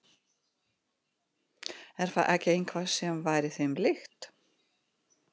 Er það ekki eitthvað sem væri þeim líkt?